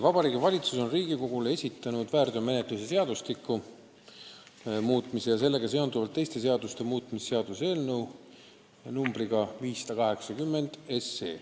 Vabariigi Valitsus on Riigikogule esitanud väärteomenetluse seadustiku muutmise ja sellega seonduvalt teiste seaduste muutmise seaduse eelnõu numbriga 580.